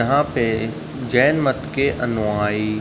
यहाँ पे जैन मत के अनुयायी --